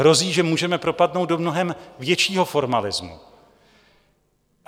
Hrozí, že můžeme propadnout do mnohem většího formalismu.